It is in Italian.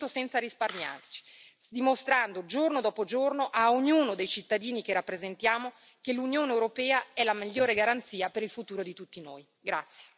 Saremo pronti a lavorare su ogni provvedimento senza risparmiarci, dimostrando giorno dopo giorno a ognuno dei cittadini che rappresentiamo che l'Unione europea è la migliore garanzia per il futuro di tutti noi.